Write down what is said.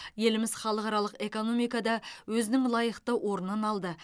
еліміз халықаралық экономикада өзінің лайықты орнын алды